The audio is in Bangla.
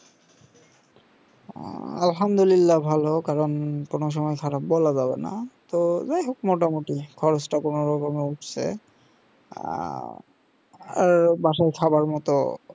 আল্হামদুলিল্লা ভালো কারণ তোমার সঙ্গে খারাপ বলা যাবে না তো যায় হোক মোটামোটি খরচটা কোনোরকম উঠছে আহ এ বাসায় খাবার মতো